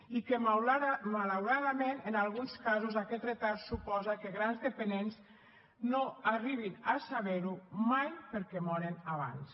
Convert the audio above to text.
i que malauradament en alguns casos aquest retard suposa que grans dependents no arribin a saber ho mai perquè moren abans